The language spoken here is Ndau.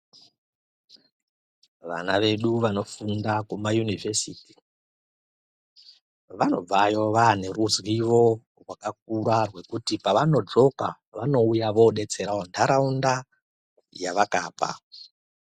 Vana vedu vanofunda kumayunivhesiti vanobvayo vane ruzivo rwakakura rwekuti pavanodzoka vanouya vodetserawo ndaraunda yavakabva.